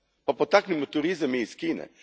Pa potaknimo turizam i iz Kine.